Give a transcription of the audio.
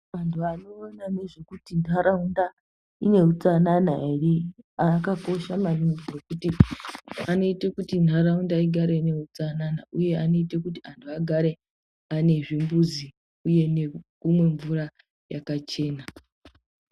Vantu vanoona nezvekuti ntaraunda ine utsanana ere, akakosha maningi ngekuti anoite kuti ntaraunda igare ine utsanana, uye anoite kuti anhu agare ane zvimbuzi, uye nekumwe mvura yakachena.